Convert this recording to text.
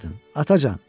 Atacan!